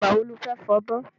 Ìgbà wo lo fẹ́ fọbọ́?